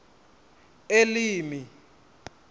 elimi